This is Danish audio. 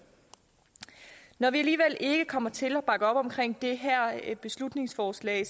når vi alligevel ikke kommer til at bakke op om det her beslutningsforslag